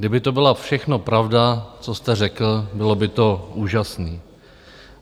Kdyby to byla všechno pravda, co jste řekl, bylo by to úžasné.